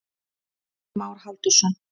Jón Már Halldórsson.